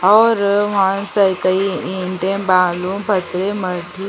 --और वहाँ पे कई ईटे बालू पत्थर --